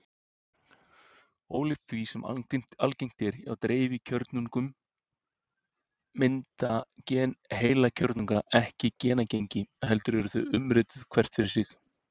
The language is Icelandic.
Ólíkt því sem algengt er hjá dreifkjörnungum mynda gen heilkjörnunga ekki genagengi heldur eru þau umrituð hvert fyrir sig.